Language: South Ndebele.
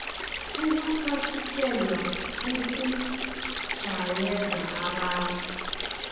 ukuthwasiselwa ukujayeza abantu